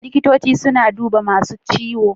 Likitoci suna bi da masun ciwo.